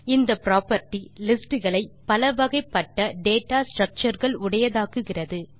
இந்த property list களை பலவகைப்பட்ட டேட்டா structureகள் உடையதாக்குகிறது